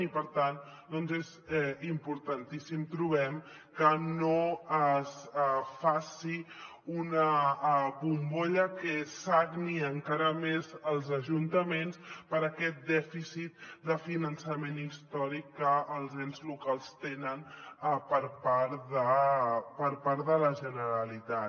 i per tant és importantíssim trobem que no es faci una bombolla que sagni encara més els ajuntaments per aquest dèficit de finançament històric que els ens locals tenen per part de part de la generalitat